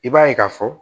I b'a ye ka fɔ